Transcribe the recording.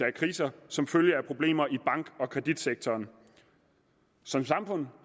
af kriser som følge af problemer i bank og kreditsektoren som samfund